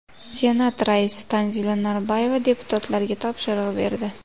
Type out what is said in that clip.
Senat raisi Tanzila Norboyeva deputatlarga topshiriq berdi.